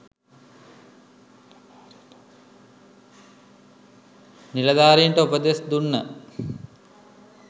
නිලධාරීන්ට උපදෙස් දුන්න